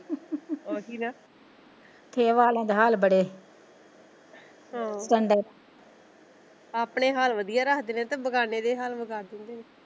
ਆਪਣੇ ਹਾਲ ਵਧੀਆ ਰੱਖਦੇ ਨੇ ਤੇ ਬੇਗਾਨਿਆਂ ਦੇ ਹਾਲ ਵਿਗਾੜ ਦਿੰਦੇ ਨੇ।